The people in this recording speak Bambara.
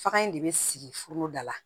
Fakan in de bɛ sigi foroda la